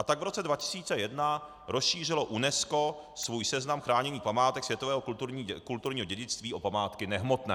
A tak v roce 2001 rozšířilo UNESCO svůj seznam chráněných památek světového kulturního dědictví o památky nehmotné.